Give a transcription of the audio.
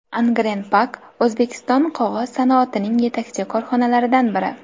Angren Pack O‘zbekiston qog‘oz sanoatining yetakchi korxonalaridan biri.